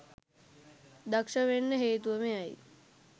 දක්ෂ වෙන්න හේතුව මෙයයි